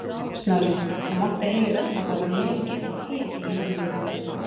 Snorri, það mátti heyra að það var mikill hiti í mönnum í kvöld?